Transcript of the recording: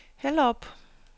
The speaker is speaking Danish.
Hellerup